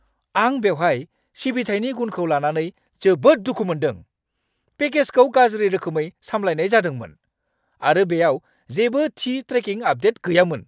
आं बेहाय सिबिथायनि गुनखौ लानानै जोबोद दुखु मोनदों। पेकेजखौ गाज्रि रोखोमै सामलायनाय जादोंमोन, आरो बेयाव जेबो थि ट्रेकिं आपदेट गैयामोन!